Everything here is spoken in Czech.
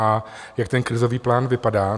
A jak ten krizový plán vypadá?